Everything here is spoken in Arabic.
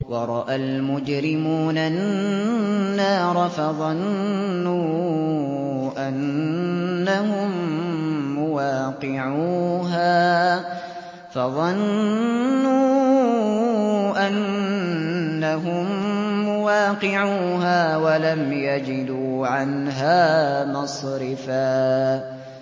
وَرَأَى الْمُجْرِمُونَ النَّارَ فَظَنُّوا أَنَّهُم مُّوَاقِعُوهَا وَلَمْ يَجِدُوا عَنْهَا مَصْرِفًا